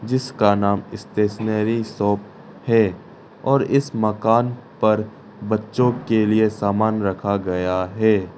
इसका नाम stationery shop है और इस मकान पर बच्चों के लिए सामान रखा गया है।